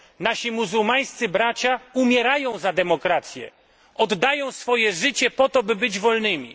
Nasi muzułmańscy bracia umierają za demokrację, oddają swoje życie po to, by być wolnymi.